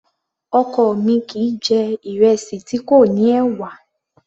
Ọkọ mi kìí jẹ̀ ìrẹsì tí kò ní ẹ̀wà